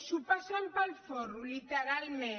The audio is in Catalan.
s’ho passen pel folre literalment